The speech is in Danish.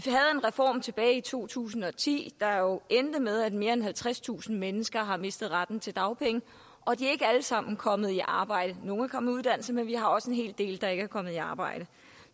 reform tilbage i to tusind og ti der jo er endt med at mere end halvtredstusind mennesker har mistet retten til dagpenge og de er ikke alle sammen kommet i arbejde nogle er kommet i uddannelse men vi har også en hel del der ikke er kommet i arbejde